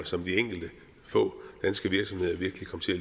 som de enkelte få danske virksomheder virkelig kom til at